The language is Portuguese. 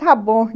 Está bom.